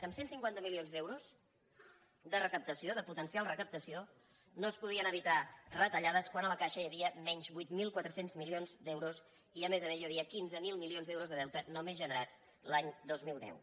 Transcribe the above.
amb cent i cinquanta milions d’euros de recaptació de potencial recaptació no es podien evitar retallades quan a la caixa hi havia menys vuit mil quatre cents milions d’euros i a més a més hi havia quinze mil milions d’euros de deute només generats l’any dos mil deu